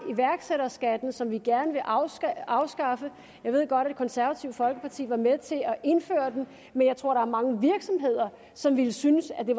iværksætterskatten som vi gerne vil afskaffe afskaffe jeg ved godt at det konservative folkeparti var med til at indføre men jeg tror der er mange virksomheder som ville synes at det